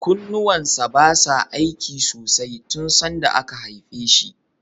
Kunnuwan sa basa aiki sosai tun sanda aka haife shi.